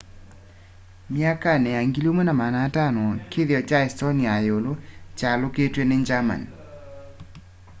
myakani ya 1500 kĩthĩo cha estonia ya yiulũ chaalyũkitwe ni germany